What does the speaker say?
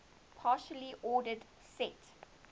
partially ordered set